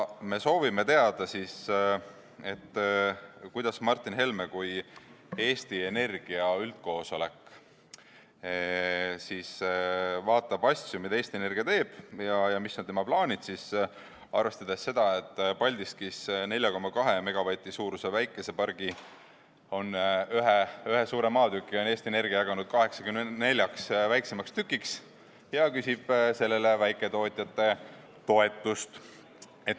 Me soovime teada, kuidas Martin Helme kui Eesti Energia üldkoosolek vaatab asju, mida Eesti Energia teeb, ja mis on tema plaanid arvestades seda, et Eesti Energia on Paldiskis 4,2 MW suuruse päikesepargi ühe suure maatüki jaganud 84 väiksemaks tükiks ja küsib sellele väiketootjate toetust.